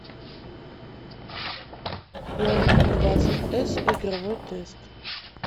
хонор двадцать с игровой тест